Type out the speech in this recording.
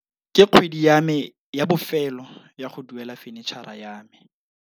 Ke kgwedi ya me ya bofêlô ya go duela fenitšhara ya me.